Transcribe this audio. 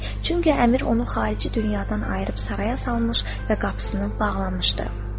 Çünki əmir onu xarici dünyadan ayırıb saraya salmış və qapısını bağlamışdı.